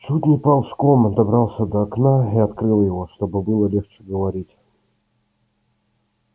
чуть не ползком добрался до окна и открыл его чтобы было легче говорить